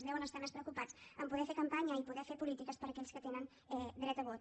deuen estar més preocupats a poder fer campanya i poder fer polítiques per a aquells que tenen dret a vot